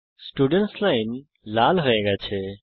students line লাল হয়ে গেছে